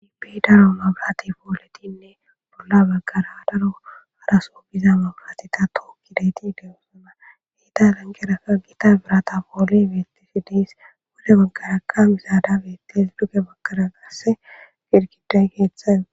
ibi daro mabarate wuridinne bolla baggara daro haraso biza mabarateta tookkidayti de7osana hiita lanqerakka giita birata poole beetishe de7es pude bagaraka misada bettes duge bagara qasse girgiday keeththaen